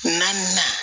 Na na